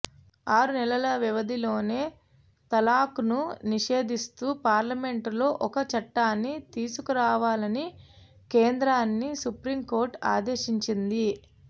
ఆరు నెలల వ్యవధిలోనే తలాక్ను నిషేధిస్తూ పార్లమెంటులో ఒక చట్టాన్ని తీసుకురావాలని కేంద్రాన్ని సుప్రీం కోర్టు ఆదేశించింది